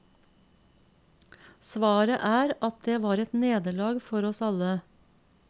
Svaret er at det var et nederlag for oss alle.